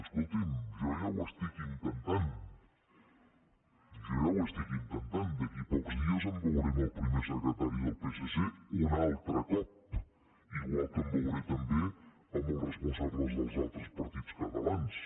escolti’m jo ja ho estic intentant jo ja ho estic intentant d’aquí a pocs dies em veuré amb el primer secretari del psc un altre cop igual que em veuré també amb els responsables dels altres partits catalans